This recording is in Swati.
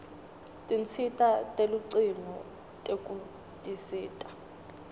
tinsita telucingo tekutisita